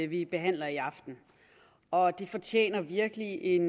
vi behandler i aften og det fortjener virkelig en